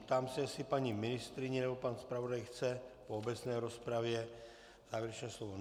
Ptám se, jestli paní ministryně nebo pan zpravodaj chce po obecné rozpravě závěrečné slovo.